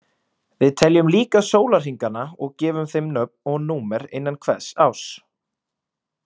Við teljum líka sólarhringana og gefum þeim nöfn og númer innan hvers árs.